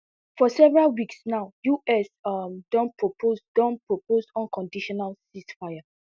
for several weeks now us um don propose don propose unconditional ceasefire